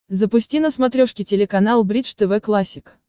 запусти на смотрешке телеканал бридж тв классик